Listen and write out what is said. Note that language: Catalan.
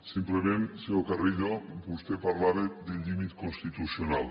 simplement senyor carrillo vostè parlava de límit constitucional